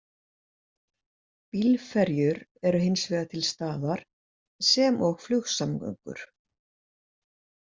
Bílferjur eru hins vegar til staðar sem og flugsamgöngur.